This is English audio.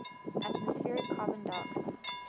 atmospheric carbon dioxide